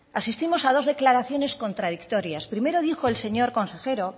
asistimos a dos declaraciones contradictorias primero dijo el señor consejero